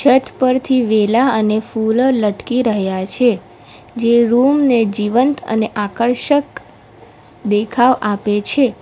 છત પરથી વેલા અને ફુલ લટકી રહ્યા છે જે રૂમ ને જીવંત અને આકર્ષક દેખાવ આપે છે.